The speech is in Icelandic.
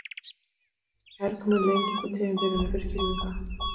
Kærkomin lenging á tímabilinu fyrir kylfinga